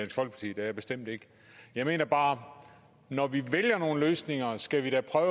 er jeg bestemt ikke jeg mener bare at når vi vælger nogle løsninger skal vi da prøve